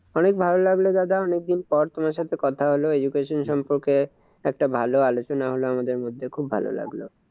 অনেক ভালো লাগলো দাদা অনেকদিন পর তোমার সাথে কথা হলো, education সম্পর্কে একটা ভালো আলোচনা হলো আমাদের মধ্যে খুব ভালো লাগলো।